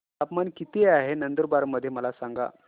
तापमान किता आहे नंदुरबार मध्ये मला सांगा